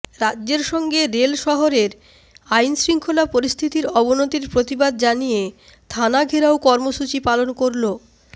রাজ্যের সঙ্গে রেল শহরের আইনশৃঙ্খলা পরিস্থিতির অবনতির প্রতিবাদ জানিয়ে থানা ঘেরাও কর্মসূচি পালন করল